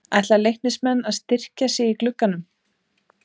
Ætla Leiknismenn að styrkja sig í glugganum?